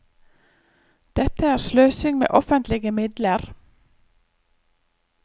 Dette er sløsing med offentlige midler.